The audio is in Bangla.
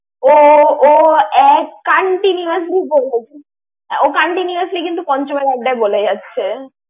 ও ও এক continuously বলে যাচ্ছে। ও continuously কিন্তু পঞ্চমের আড্ডায় বলে যাচ্ছে।